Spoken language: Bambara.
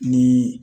Ni